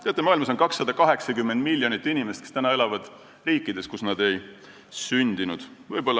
Teate, maailmas on 280 miljonit inimest , kes elavad riigis, kus nad ei ole sündinud.